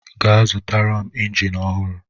Gaa zụtara m injin ọhụrụ!